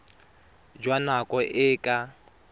jwa nako e e ka